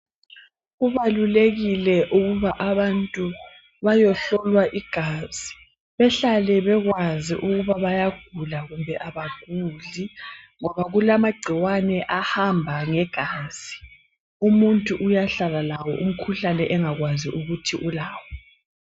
Kubalulekile ukuba abantu bayohlolwa igazi, behlale bekwazi ukuba bayagula kumbe abaguli ngoba kulamagcikwane ahamba ngegazi umuntu uyahlala lawo umkhuhlane engakwazi ukuthi ulawo.